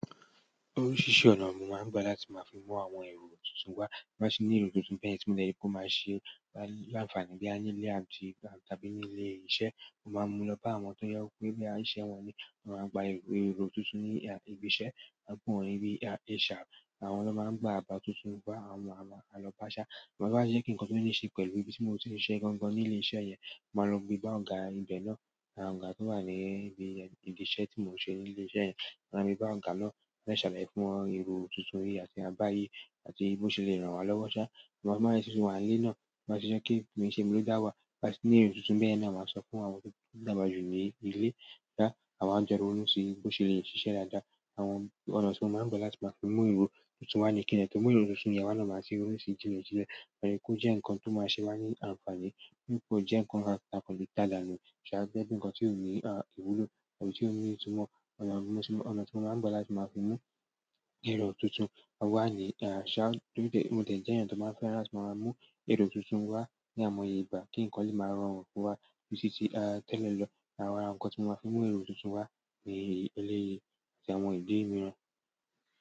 Oríṣiríṣi ọ̀nà ni mo máa ń gbà láti máa fi mú àwọn èrò tuntun wá, bí mo ba ti ní èrò tuntun bẹ́yẹn tí mo dẹ̀ ri pe o máa ṣe wa l'áǹfààní boya nílé àti àbí ní ilé iṣẹ́. Mo máa ń mú lọ bá àwọn tó jẹ́ pé boya iṣẹ́ wọn ní, àwọn lo máa gba ero tuntun ní ibi iṣẹ́, a n pe wọ́n ni HR, àwọn ló máa ń gba àbá tuntun wá, àwọn ààlọ́ bá ṣá, mo máa ń gbà ṣé kí ǹkan tó ní ṣe pẹ̀lú ibi tí mo ti ń ṣe gan-an ní ilé iṣẹ́ yẹn, mo máa lọ gbé bá ọ̀gá ìgbẹ́ náà, àwọn ọ̀gá tí wà ní ibi ìdí iṣẹ́ tí mo ti ń ṣe ní ilé iṣẹ́ yẹn. Ma lọ gbe bá ọ̀gá náà, mà dẹ̀ sàlàyé fún wọn èrò tuntun yí àti àbá yí, àti bó se le ràn wá lọ́wọ́. Mo máa ń ṣiṣẹ́ wà nílé náà, mo máa ṣiṣẹ́ kí èyí tí mo ń ṣe ló dá wá, bí wọ́n ṣe ní èrò tuntun bẹ́ẹ̀ ni a máa sọ fún àwọn tó dàgbà jù ní ilé dáà, àwọn jọ̀wọ́ ló si bó ṣe lè ṣiṣẹ́ dáadáa, àwọn ọ̀nà tí wọn máa ń gbà láti máa fi mú èrò tuntun wá ní kìn-ín-ní, tó mú èrò tuntun yẹn wà lọ́ máa ti ronú si jinlẹ̀ jinlẹ̀. Ó yẹ kó jẹ́ ǹkan tó máa ṣe wá ní àǹfààní, kò jẹ́ ǹkan takọ̀lù tálà nu ṣá, bí ẹni ǹkan tí ò ní ìwúlò tàbí tí ò ní ìtumọ̀. Ọ̀nà tí wọn máa ń gbà láti máa fi mú èrò tuntun wá ní àṣá, mo dẹ̀ jẹ́ èèyàn tó máa fẹ́ra láti máa mú èrò tuntun wá ní àìmọye ìgbà kí ǹkan lè máa rọrùn fún wa títí tẹ́lẹ̀ lọ. Àwọn ǹkan tí wọ́n máa fi mú èrò tuntun wá ní eléyìí jẹ́ àwọn ìdí ìmíràn.